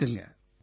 வணக்கங்க